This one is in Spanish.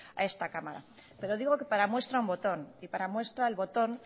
a esta cámara pero digo que para muestra un botón y para muestra el botón